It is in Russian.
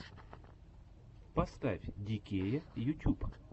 поставь ди кея ютюб